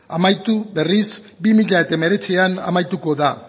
amaitu berriz bi mila hemeretzian amaituko da